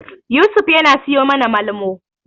Yusuf yana siyo mana Malmo.